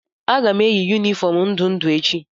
Aga m eyi yunifọọm ndụ ndụ echi.